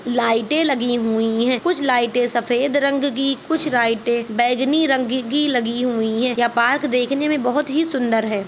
लाइटे लगी हुई है कुछ लाइटे सफ़ेद रंग की कुछ लाइटे बेगनि रंग की लगी हुई है यह पार्क देखने में बहुत ही सुंदर है।